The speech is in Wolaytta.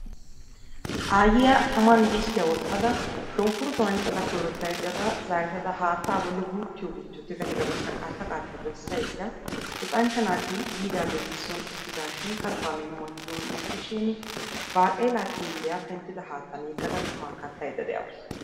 aayyiya tammani disttiya wottda shunkkurutuwa anccada zaarettada haattaa guuttiyo guuttiyo tigada qaatta qaatta besayda luxanchcha naati yiidagaeeti soon uttidaashin kattanne imma giidi un'ettidashin baaqela xiilliya penttida haattan yegada quma kattaydaade'awus.